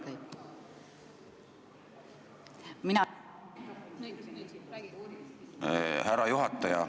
Härra juhataja!